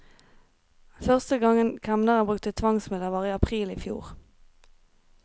Første gangen kemneren brukte tvangsmidler var i april i fjor.